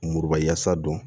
Muruba yasa don